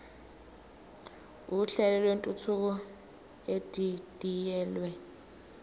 uhlelo lwentuthuko edidiyelwe